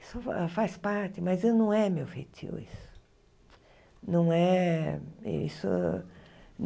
Isso fa faz parte, mas não é meu fetio isso. Não é isso